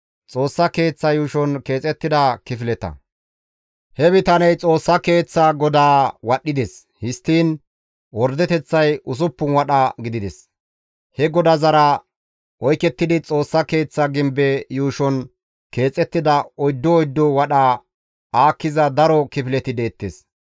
He bitaney Xoossa Keeththa godaa wadhdhides; histtiin ordeteththay usuppun wadha gidides. He godazara oykettidi, Xoossa Keeththa gimbe yuushon keexettida oyddu oyddu wadha aakkiza daro kifileti deettes.